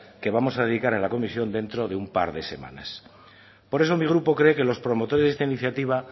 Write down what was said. que vamos a dedicar a la comisión dentro de un par de semanas por eso mi grupo cree que los promotores de esta iniciativa